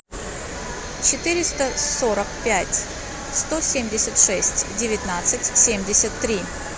четыреста сорок пять сто семьдесят шесть девятнадцать семьдесят три